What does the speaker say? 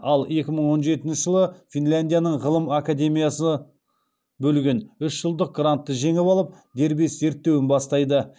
ал екі мың он жетінші жылы финляндияның ғылым академиясы бөлген үш жылдық грантты жеңіп алып дербес зерттеуін бастайды